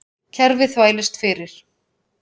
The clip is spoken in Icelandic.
Kerfið þvælist fyrir